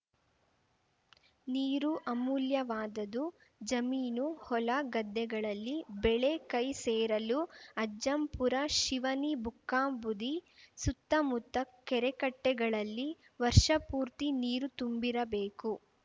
ನೀರು ಅಮೂಲ್ಯವಾದದು ಜಮೀನು ಹೊಲ ಗದ್ದೆಗಳಲ್ಲಿ ಬೆಳೆ ಕೈ ಸೇರಲು ಅಜ್ಜಂಪುರ ಶಿವನಿ ಬುಕ್ಕಾಂಬುದಿ ಸುತ್ತಮುತ್ತ ಕೆರೆಕಟ್ಟೆಗಳಲ್ಲಿ ವರ್ಷಪೂರ್ತಿ ನೀರು ತುಂಬಿರಬೇಕು